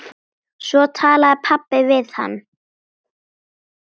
Svo talaði pabbi við hann.